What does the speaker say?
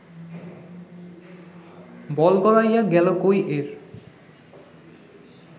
বল গড়াইয়া গেল কই-এর